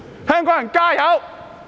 香港人加油！